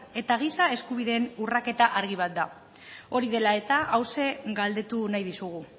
eta giza eskubideen urraketa argi bat da hori dela eta hauxe galdetu nahi dizugu